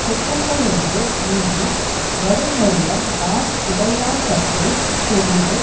குற்றங்களின்று நீங்கி வடுப்பரியும் நாண் உடையான்கட்டே தெளிவு